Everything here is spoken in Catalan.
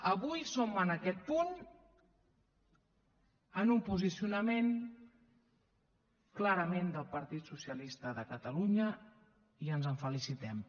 avui som en aquest punt en un posicionament clarament del partit socialista de catalunya i ens en felicitem